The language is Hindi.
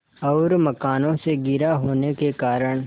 और मकानों से घिरा होने के कारण